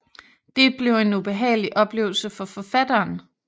Det blev en ubehagelig oplevelse for forfatteren